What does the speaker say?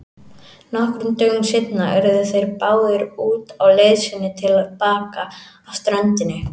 Nokkrum dögum seinna urðu þeir báðir úti á leið sinni til baka að ströndinni.